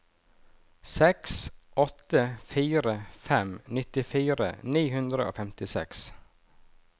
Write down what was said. seks åtte fire fem nittifire ni hundre og femtiseks